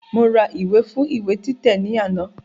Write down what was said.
Mo ra ìwé fún ìwé títẹ̀ ní àná